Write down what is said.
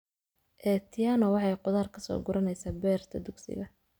Atieno waxay khudaar ka soo guranaysaa beerta dugsiga